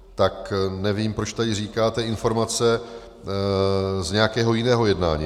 Tak nevím, proč tady říkáte informace z nějakého jiného jednání.